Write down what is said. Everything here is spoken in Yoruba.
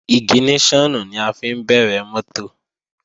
Ìgìníṣọ̀nù ni a fi ń bẹ̀rẹ̀ mọ́tò